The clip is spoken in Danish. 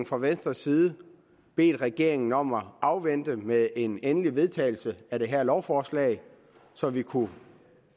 fra venstres side bedt regeringen om at vente med en endelig vedtagelse af det her lovforslag så vi kunne